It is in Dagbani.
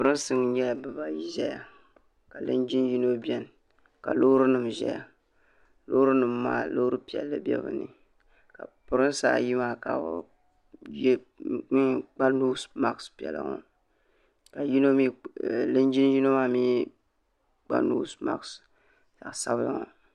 pirinsi nyɛla bibaayi ʒeya ka linjin yino biɛni ka loori nima ʒɛya loori nima maa loori piɛla be bɛ ni ka pirinsi ayi maa ka bɛ kpa noosi maasi piɛla ka linjin yino maa mee kpa noosi maasi zaɣa sabila.